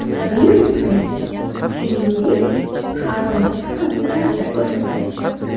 Virusga, shuningdek, harorat ham ta’sir ko‘rsatadi.